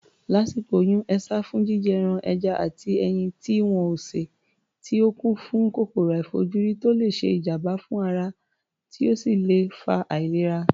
Lásìkò oyún, e sá fún jíjẹ ẹran, ẹja àti ẹyin tí wọn ò sè tí ó kún fún kòkòrò àìfojúrí tó le ṣe ìjàm̀bá fún ara, tí ó sì lè fa àìlera.